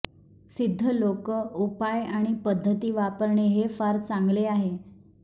सिद्ध लोक उपाय आणि पद्धती वापरणे हे फार चांगले आहे